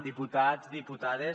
diputats diputades